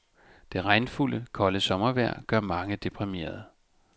Det regnfulde, kolde sommervejr gør mange deprimerede.